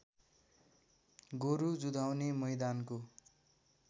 गोरु जुधाउने मैदानको